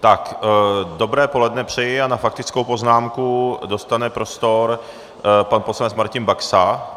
Dobré poledne přeji a na faktickou poznámku dostane prostor pan poslanec Martin Baxa.